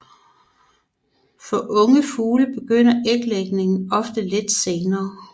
For unge fugle begynder æglægningen ofte lidt senere